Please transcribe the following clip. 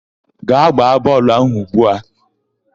Gbaa bọọlụ áhụ̀ ugbu a!